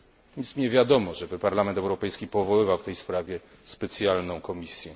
Nic mi nie wiadomo, żeby Parlament Europejski powoływał w tej sprawie specjalną komisję.